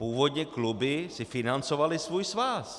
Původně kluby si financovaly svůj svaz.